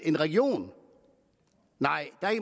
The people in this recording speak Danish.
i regionen nej